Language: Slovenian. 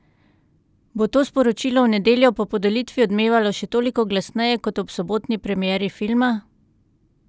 Bo to sporočilo v nedeljo po podelitvi odmevalo še toliko glasneje kot ob sobotni premieri filma?